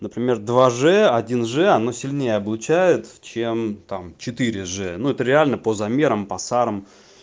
например два ж один ж оно сильнее облучают чем там четыре же но это реально по замерам по сарам